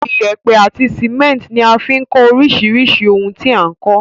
Iyẹ́pẹ́ àti cement ní a fi n kó orísirísì oun ti a n kó